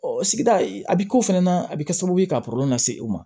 sigida a bɛ k'o fɛnɛ na a bɛ kɛ sababu ye ka kɔlɔlɔ lase u ma